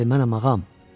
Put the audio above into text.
Bəli, mənəm ağam.